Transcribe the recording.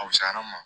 A wusala n ma